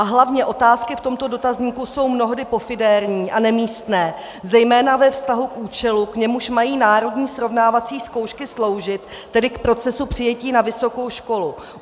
A hlavně, otázky v tomto dotazníku jsou mnohdy pofidérní a nemístné, zejména ve vztahu k účelu, k němuž mají národní srovnávací zkoušky sloužit, tedy k procesu přijetí na vysokou školu.